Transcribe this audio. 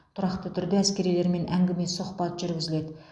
тұрақты түрде әскерилермен әңгіме сұхбат жүргізіледі